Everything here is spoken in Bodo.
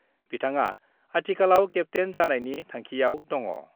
बिथाङा आथिखालाव केप्तेन जानायनि थांखिआव दङ।